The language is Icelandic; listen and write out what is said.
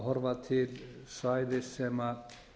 horfa til svæðis sem